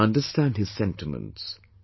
I understand his sentiments